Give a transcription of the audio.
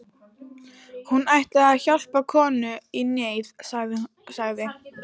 Hún ætlaði að hjálpa konu í neyð, sagði